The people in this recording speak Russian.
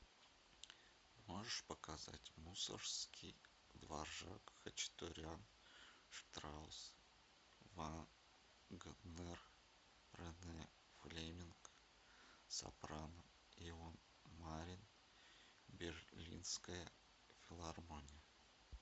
можешь показать мусоргский дворжак хачатурян штраусс вагнер рене флеминг сопрано ион марин берлинская филармония